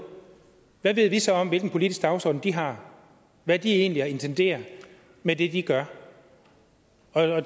hvad ved vi så om hvilken politisk dagsorden de her hvad de egentlig intenderer med det de gør